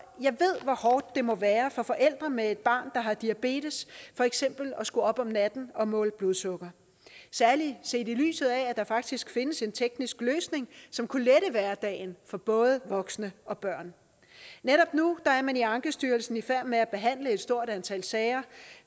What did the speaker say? ved hvor hårdt det må være for forældre med et barn der har diabetes for eksempel at skulle op om natten og måle blodsukker særlig set i lyset af at der faktisk findes en teknisk løsning som kunne lette hverdagen for både voksne og børn netop nu er man i ankestyrelsen i færd med at behandle et stort antal sager